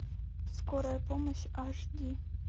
скорая помощь аш ди